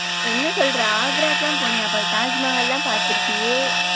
என்ன சொல்ற ஆக்ராக்கெல்லாம் போனியா? அப்ப தாஜ்மஹால்லாம் பாத்திருப்பியே?